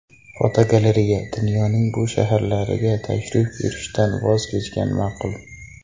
Fotogalereya: Dunyoning bu shaharlariga tashrif buyurishdan voz kechgan ma’qul .